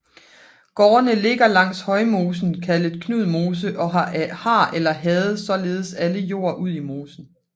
Gårdene ligger langs Højmosen kaldet Knudmose og har eller havde således alle jord ud i mosen